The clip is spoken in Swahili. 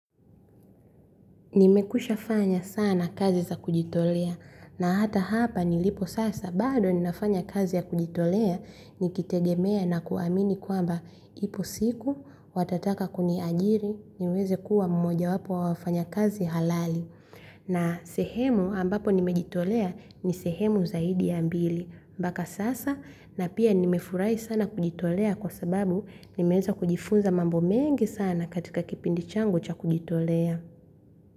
Nimekwisha fanya sana kazi za kujitolea na hata hapa nilipo sasa bado ninafanya kazi ya kujitolea nikitegemea na kuamini kwamba ipo siku watataka kuniajiri niweze kuwa mmoja wapo wa wafanyakazi halali. Na sehemu ambapo nimejitolea ni sehemu zaidi ya mbili mpaka sasa na pia nimefurahi sana kujitolea kwa sababu nimeweza kujifunza mambo mengi sana katika kipindi changu cha kujitolea.